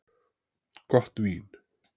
Gott vín.